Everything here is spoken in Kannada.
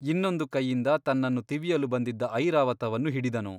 ಇನ್ನೊಂದು ಕೈಯಿಂದ ತನ್ನನ್ನು ತಿವಿಯಲು ಬಂದಿದ್ದ ಐರಾವತವನ್ನು ಹಿಡಿದನು.